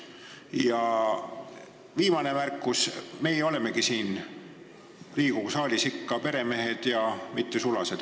Ja viimane märkus: meie oleme siin Riigikogu saalis ikka peremehed, mitte sulased.